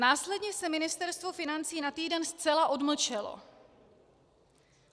Následně se Ministerstvo financí na týden zcela odmlčelo.